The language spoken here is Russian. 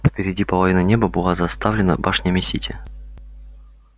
впереди половина неба была заставлена башнями сити